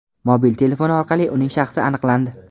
Mobil telefoni orqali uning shaxsi aniqlandi.